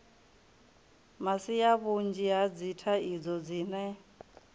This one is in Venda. masia vhunzhi ha dzithaidzo dzine